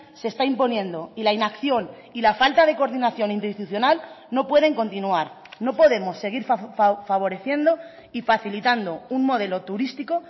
se está imponiendo y la inacción y la falta de coordinación interinstitucional no pueden continuar no podemos seguir favoreciendo y facilitando un modelo turístico